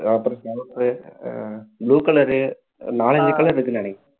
colour ah blue colour நாலஞ்சு colour இருக்குன்னு நினைக்கிறேன்